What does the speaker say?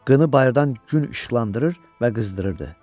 Qını bayırdan gün işıqlandırırdı və qızdırırdı.